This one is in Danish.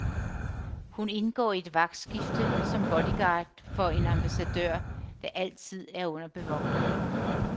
Hun indgår i et vagtskifte som bodyguard for en ambassadør, der altid er under bevogtning.